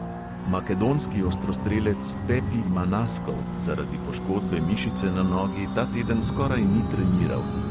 Makedonski ostrostrelec pepi manaskov zaradi poškodbe mišice na nogi ta teden skoraj ni treniral.